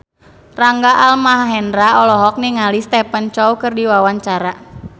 Rangga Almahendra olohok ningali Stephen Chow keur diwawancara